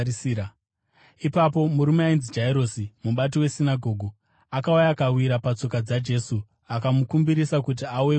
Ipapo murume ainzi Jairosi, mubati wesinagoge, akauya akawira patsoka dzaJesu, akamukumbirisa kuti auye kumba kwake